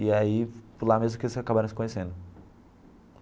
E aí lá mesmo que eles acabaram se conhecendo.